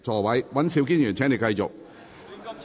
尹兆堅議員，請繼續發言。